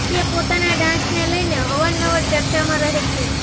તે પોતાના ડાન્સને લઈને અવાર નવાર ચર્ચામાં રહે છે